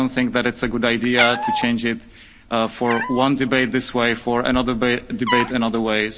I don't think that it's a good idea to change it for one debate this way and for another debate another way.